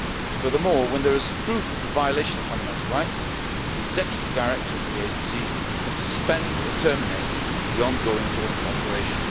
Furthermore, where there is proof of the violation of fundamental rights the executive director of the agency can suspend or terminate the ongoing joint operation.